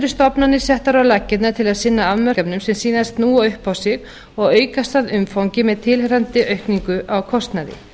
stofnanir settar á laggirnar til að sinna afmörkuðum verkefnum sem síðan snúa upp á sig og aukast að umfangi með tilheyrandi aukningu á kostnaði